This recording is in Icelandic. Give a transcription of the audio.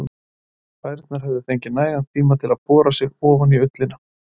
Klærnar höfðu fengið nægan tíma til að bora sig ofan í ullina.